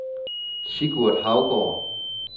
Sigurd Haugaard